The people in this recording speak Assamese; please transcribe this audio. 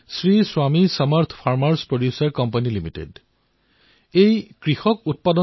শ্ৰী স্বামী সামাৰ্থ farmerচ প্ৰডিউচাৰ কোম্পানী লিমিটেড শীৰ্ষক এটা কৃষকৰ সংগঠন আছে